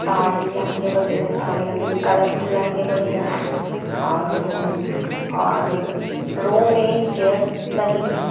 साड़ी लहंगे वगेरा सारे लगे हुए कलरफुल लहंगे वगेरा है और रो मे चेयर्स लगी हुई ----